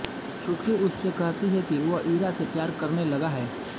छुटकी उससे कहती है कि वो इरा से प्यार करने लगा है